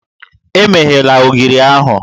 Emeghela ogiri ahụ!